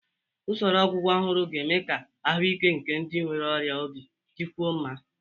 Usoro ọgwụgwọ ọhụrụ ga-eme ka ahụike nke ndị nwere ọrịa obi dịkwuo mma.